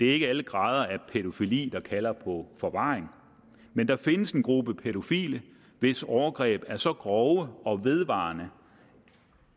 ikke alle grader af pædofili der kalder på forvaring men der findes en gruppe pædofile hvis overgreb er så grove og vedvarende